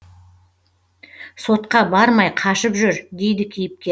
сотқа бармай қашып жүр дейді кейіпкер